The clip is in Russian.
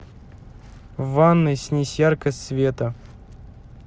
в ванной снизь яркость света